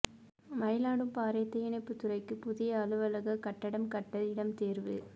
மயிலாடும்பாறை தீயணைப்புத் துறைக்கு புதிய அலுவலகக் கட்டடம் கட்ட இடம் தோ்வு